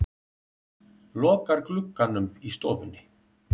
Lokar glugganum í stofunni.